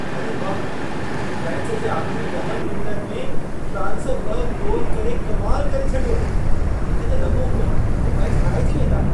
अड़े वाह! मैच जे आख़िरी ॾहनि मिंटनि में फ़्रांस ॿ गोल करे कमाल करे छॾियो! मूंखे त लॻो हो हू मैचु हाराइजी वेंदा।